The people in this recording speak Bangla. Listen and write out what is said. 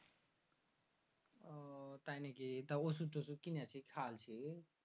আহ তাই নাকি? তো ঔষদ টৌষদ গিলেছি খাইলছি?